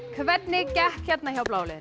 hvernig gekk hérna hjá bláa liðinu